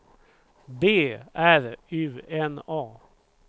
B R U N A